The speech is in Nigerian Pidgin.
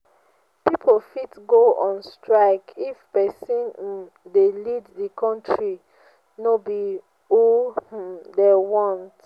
pipo fit go on strike if persin um wey de lead di country no be who um dem want